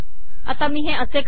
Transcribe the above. आता मी हे असे करते